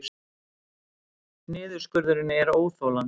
Niðurskurðurinn er óþolandi